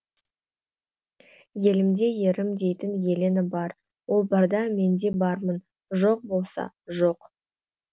елімде ерім дейтін елена бар ол барда мен де бармын жоқ болса жоқ